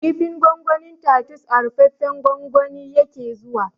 Kifin gwangwanin tatus a rufaffen gwangwani yake zuwa